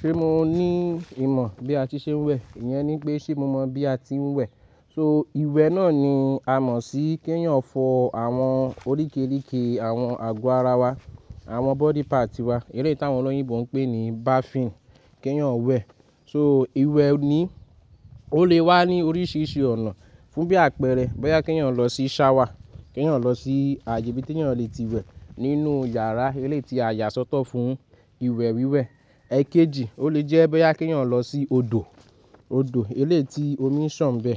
Ṣé mo ní ìmọ̀ bí a ti ṣe ń wẹ̀? Iyẹn ni pé ṣé mo mọ̀ bí a ti ń wẹ̀? So ìwẹ̀ náà ni a mọ̀ sí kí èèyàn fọ àwọn oríkerike àwọn àgọ́ ara wa, àwọn body part wa. Eléyi tí àwọn ọlọ́yìnbo ń pè ní bathing, kí èèyàn wẹ̀. So ìwẹ̀ oni ó lè wá ní oríṣiríṣi ọ̀nà fún bí àpẹẹrẹ, bóyá kí èèyàn lọ sí shower, kí èèyàn lọ sí ààyè bí tí èèyàn le ti wẹ̀ nínú yàrá eléyi ti a yà sọ́tọ̀ fún ìwẹ̀ wíwẹ̀. Ẹ̀kejì, ó lè jẹ́ bóyá kí èèyàn lọ sí odò, odò elé ti omi ń sàn bẹ.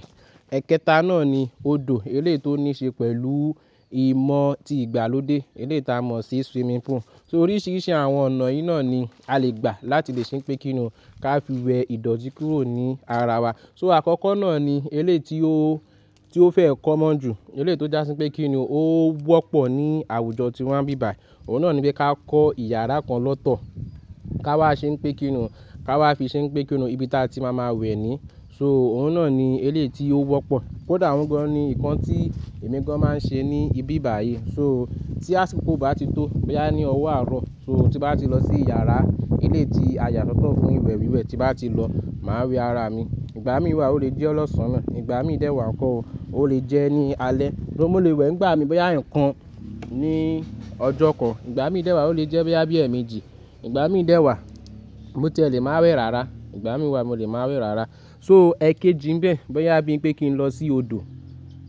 Ẹ̀kẹta náà ni odò elétì tó níí ṣe pẹ̀lú ìmọ̀ tí ìgbàlódé elétì a mọ̀ sí swimming pool. So oríṣiríṣi àwọn ọ̀nà yìí náà ni a lè gbà láti lè ṣépè kínnú kí a fi wẹ̀ ìdọ̀tí kúrò ní ara wa. So àkọ́kọ́ náà ni elétì ó, tí ó fẹ́ common jù, elétì ó já sí pé kí ni o wọ́pọ̀ ní àwùjọ tí wa ń ibi bayi Òun náà ni pé ká kọ́ ìyàrá kan lọ́tọ̀, ká wá ṣépèkínnú, ká wá fi ṣépèkínnú ibi tí a ti máa ma wẹ̀ ni. So òun náà ni elétì ó wọ́pọ̀. Kódà òun gan-an ni nǹkan tí èmi gan-an máa ń ṣe ní ibi bíbà yìí. So tí àsìkò bá ti tó, bóyá ní ọwọ́ àárọ̀, so tí bá ti lọ sí yàrá elétì a yà sọ́tọ̀ fún ìwẹ̀ wíwẹ̀ tí bá ti lọ, màá wẹ ara mi. Ìgbà mí wà ó lè jẹ́ ọlọ́ṣọ̀nà, ìgbà mí dẹ́ wà ńkọ́ ó lè jẹ́ ní alẹ́. Mo lè wẹ̀ ngba mí bóyá ǹkan ni ọjọ́ kan, ìgbà mí dẹ́ wà ó lè jẹ́ bóyá bí èèmejì, ìgbà mí dẹ́ wà mo ti ẹ lè máa wẹ rara, ìgbà mí wà mo lè máa wẹ rara. So ẹ̀kejì ńbẹ, bóyá bí ń pé kí n lọ sí odò,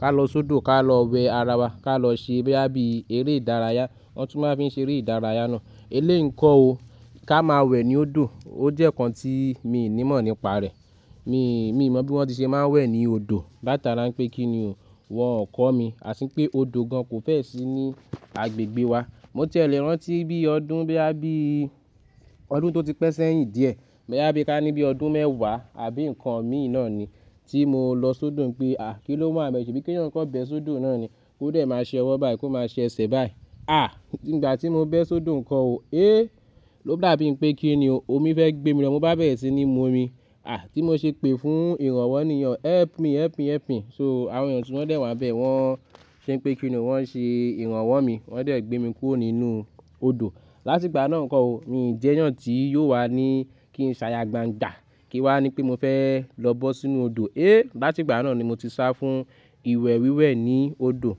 ká lọ sódò, ká lọ wẹ ara wa, ká lọ ṣe bíi bóyá bí eré ìdárayá, wọ́n tún máa ń fi ṣe eré ìdárayá náà. Eléyi ńkọ́ o ká máa wẹ̀ ní odò ó jẹ́ nǹkan tí mi ò ní mọ̀ nípa rẹ̀. Mi, mi ò mọ̀ bí wọ́n ti ṣe máa ń wẹ̀ ní odò. Bá tàrá ń pé kí ni o, wọn ò kọ́ mi. Àsín pé odò gan-an kò fẹ́ sì ní agbègbè wa. Mo ti ẹ lè rántí bí ọdún boya bí i, ọdún tó ti pẹ́ sẹ́yìn díẹ̀, bóyá bí ká ní bí ọdún mẹ́wàá àbí nǹkan míì náà ni tí mo lọ sódò ń pe, "à kiló wa n bẹ pe ṣebí kí èèyàn kan bẹ sódò náà ni. Ó dẹ̀ máa ṣẹ ọwọ́ báyi kò máa ṣe ẹṣẹ̀ bá yi À, nígbà tí mo bẹ sódò ńkọ́ o, é ló gba bí ń pé kí ni o, omi fẹ́ gbé mi lọ. Mo bá bẹ̀rẹ́ sí ní mu omi, à tí mo ṣe pè fún ìrànwọ́ ní ìyẹn, "help me, help me, help me". So àwọn èèyàn tí wọ́n dẹ̀ wà níbẹ̀ wọ́n ṣe pé kiní o, wọ́n ṣe ìrànwọ́ mi, wọ́n dẹ̀ gbé mi kúrò nínú odò. Láti ìgbà náà ńkọ́ o mi ò jẹ́yàn tí yóò wà ní kí n ṣaya gbangba kí wà ní pé mo fẹ́ lọ bọ́ sínú odò. É láti ìgbà náà ni mo ti sá fún ìwẹ̀ wíwẹ̀ ní odò.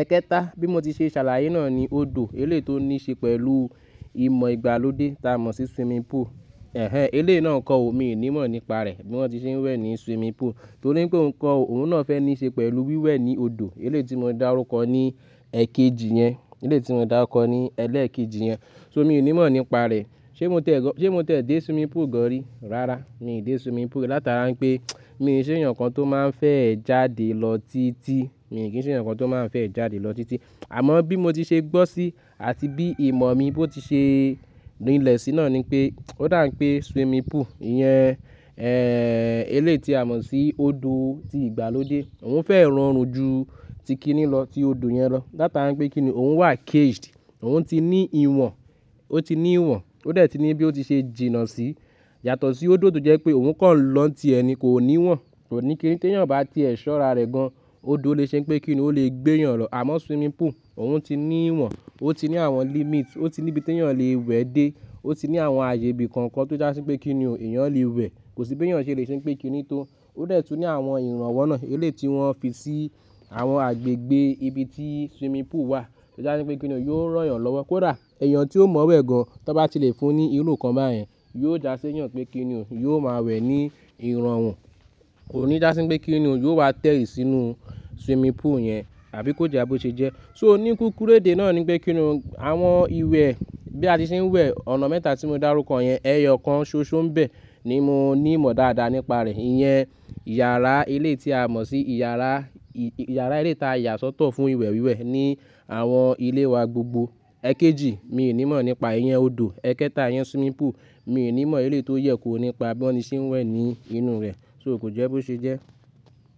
Ẹ̀kẹta bí mo ti ṣe ṣàlàyé náà ni odò elétì ó níí ṣe pẹ̀lú ìmọ̀ ìgbàlódé tí a mọ̀ sí swimming pool. Ẹ̀hẹ́n elé náà ńkọ́ o mi ò ní mọ̀ nípa rẹ̀ bí wọ́n ti ṣe ń wẹ̀ ní swimming pool. Torí pé ńkọ́ o òun náà fẹ́ níí ṣe pẹ̀lú wíwẹ̀ ní odò elétì mo dá rú kọ ní ẹ̀kejì yẹn, elétì tí mo dá rú kọ ní ẹlẹ́ẹ̀kejì yẹn. So mi ò ní mọ̀ nípa rẹ̀. Ṣé mo tẹ̀ ẹ́, ṣé mo tẹ̀ dé swimming pool gan-an rí? Rárá, mi dé swimming pool. Lá tàrá ń pé mi ò ṣe èèyàn kan tó máa ń fẹ́ jáde lọ títí, mi ò kí í ṣe ǹkan tó máa ń fẹ́ jáde lọ títí. Àmọ́ bí mo ti ṣe gbọ́ sí àti bí ìmọ̀ mi bó ti ṣe rinlẹ̀ sí náà ni pé ó dà pé swimming pool ìyẹn, elétì a mọ̀ sí odò tí ìgbàlódé òun fẹ́ ranrun ju ti kí ni lọ, ti odò yẹn lọ. Lá tàrá ń pé kí ni òun wà caged, òun ti ní ìwọ̀n, ó ti ní ìwọ̀n, ó dẹ̀ ti ní bí ó ti ṣe jìnnà sí yàtọ̀ sí odò tó jẹ́ pé òun kọ́ lọ́n ti ẹ ni kò ní ìwọ̀n. Kò ní kíni tí èèyàn bá ti ẹ́ ṣọ́ra rẹ̀ gan-an, odò lè ṣe n pé kí ni o lè gbé èèyàn lọ. Àmọ́ swimming pool òun ti ní ìwọ̀n, ó ti ní àwọn limit, ó ti ní ibi tí èèyàn lè wẹ̀ dé, ó ti ní àwọn ààyè bí kankan tó jásí pé kí ni o èèyàn lè wẹ̀. Kò sí bí èèyàn ṣe lè ṣe pé kí ni tó. Ó dẹ̀ tun ní àwọn ìrànwọ́ náà elétì wọ́n fi sí àwọn agbègbè ibi tí swimming pool wà. Tí jásí pé kí ni o yóò rọ́yàn lọ́wọ́. Kódà èèyàn tí ó mọ̀ wẹ̀ gan-an tí ó bá ti lè fún ní ìrú kan báyẹn yóò jásí èèyàn pé kí ni o yóò máa wẹ̀ ní ìrànwọ́. Kò ní jásí pé kí ni o yóò wá tẹ́rí sínú swimming pool yẹn àbí kó jẹ́ bó ṣe jẹ́. So oníkíkúrẹ́dè náà ni pé kí ni o àwọn ìwẹ̀ bí a ti ṣe ń wẹ̀, ọ̀nà mẹ́ta tí mo dá rú kọ yẹn, ẹyọ kan ṣoṣo ńbẹ̀ ni mo ní mọ̀ dáadáa nípa rẹ̀. Iyẹn yàrá elétì a mọ̀ sí yàrá, yàrá elétì a yà sọ́tọ̀ fún ìwẹ̀ wíwẹ̀ ní àwọn ilé wa gbogbo. Ẹ̀kejì mi ò ní mọ̀ nípa iyẹn odò. Ẹ̀kẹta iyẹn swimming pool mi ò ní mọ̀ elétì ó yẹ kó nípa bí wọ́n ti ṣe ń wẹ̀ ní inú rẹ̀. So kò jẹ́ bó ṣe jẹ́.